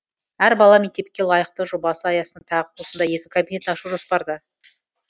әр бала мектепке лайықты жобасы аясында тағы осындай екі кабинет ашу жоспарда